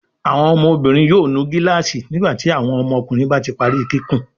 Awọn ọmọbinrin yóò nu gilaasi nígbàtí àwọn ọmọkùnrin bá tí parí kíkún.